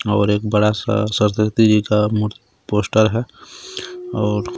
और एक बड़ा सा सरस्वती जी का म्-पोस्टर है और--